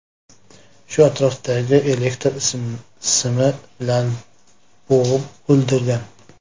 Shu atrofdagi elektr simi bilan bo‘g‘ib o‘ldirgan.